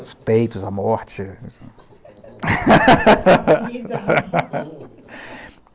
Os peitos, a morte.